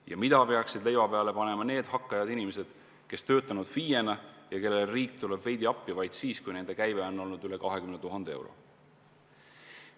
Ja mida peaksid leiva peale panema need hakkajad inimesed, kes on töötanud FIE-na ja kellele riik tuleb veidi appi vaid siis, kui nende käive on olnud üle 20 000 euro?